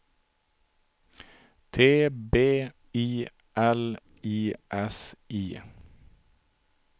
T B I L I S I